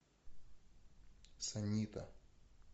санита